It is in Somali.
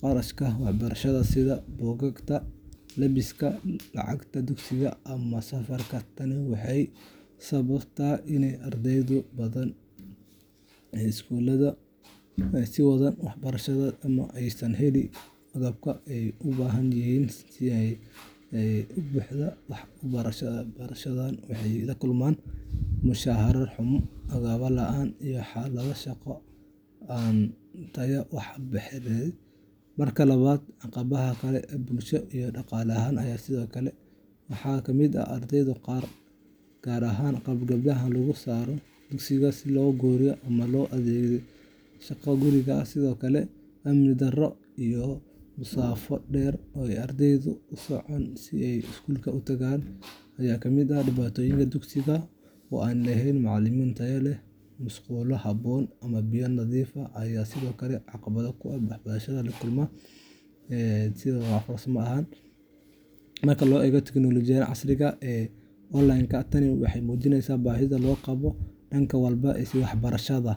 kharashaadka waxbarashada sida buugaagta, labiska, lacagta dugsiga, ama safarka. Tani waxay sababtaa in arday badan aysan sii wadan waxbarashadooda ama aysan helin agabkii ay u baahnaayeen si ay si buuxda wax u bartaan. Barayaashana, waxay la kulmaan mushahar xumo, agab la'aan, iyo xaalado shaqo oo aan wanaagsanayn, taasoo niyad-jab ku keenta tayada waxbarida. Marka labaad, caqabado kale oo bulsho iyo dhaqan ah ayaa sidoo kale jira. Waxaa ka mid ah ardayda qaar, gaar ahaan gabdhaha, oo laga saaro dugsiga si loo guuriyo ama loo adeegsado shaqo guriga ah. Sidoo kale, amni darro iyo masaafo dheer oo ay ardaydu u socdaan si ay iskuul u tagaan ayaa ka mid ah dhibaatooyinka. Dugsiyada oo aan lahayn macallimiin tayo leh, musqulo habboon, ama biyo nadiif ah ayaa sidoo kale caqabad weyn ku ah barashada. Intaas waxaa sii dheer, barayaashu waxay la kulmaan caqabado dhinaca maaraynta ardayda iyo qalab la’aan farsamo, gaar ahaan marka la isticmaalayo tiknoolajiyada casriga ah ee waxbarashada online-ka. Tani waxay muujinaysaa baahida loo qabo horumarin dhan walba ah si waxbarashada.